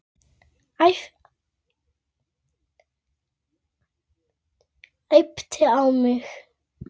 En ég skal reyna.